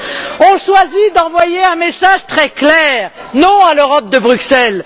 Ils ont choisi d'envoyer un message très clair Non à l'Europe de Bruxelles.